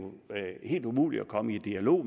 helt umuligt at komme i en dialog